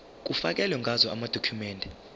kufakelwe ngazo amadokhumende